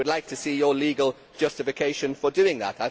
I would like to see your legal justification for doing that.